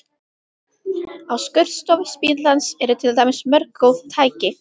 Á skurðstofu spítalans eru til dæmis mörg góð tæki.